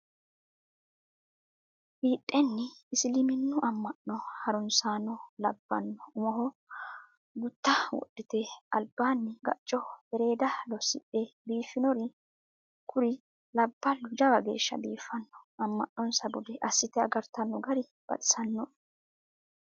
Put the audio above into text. Fidhenni isiliminu ama'no harunsano labbano umoho gutta wodhite albaani gacoho ereda losidhe biifinori kuri labbalu jawa geeshsha biifino ama'nossa bude assite agartano gari baxisanoe.